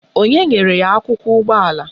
Onye nyere ya akwụkwọ ụgbọala?